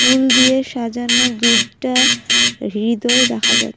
ফুল দিয়ে সাজানো দুইটা হৃদয় দেখা যাছ--